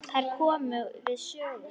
Þær komu við sögu.